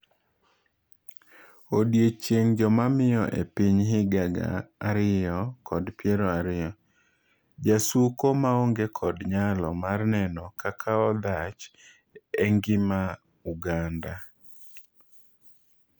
Odiochieng' jomamiyo epiny higa gaa ariyo kod piero ariyo:Jasuko maonge kod nyalo mar neno kakaodhach engima Uganda.